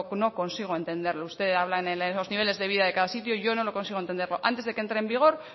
no consigo entenderlo usted habla de los niveles de vida de cada sitio y yo no lo consigo entender antes de que entre en vigor